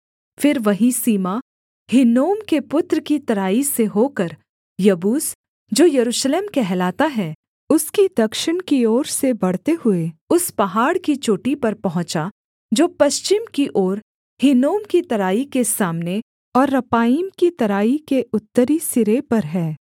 फिर वही सीमा हिन्नोम के पुत्र की तराई से होकर यबूस जो यरूशलेम कहलाता है उसकी दक्षिण की ओर से बढ़ते हुए उस पहाड़ की चोटी पर पहुँचा जो पश्चिम की ओर हिन्नोम की तराई के सामने और रपाईम की तराई के उत्तरी सिरे पर है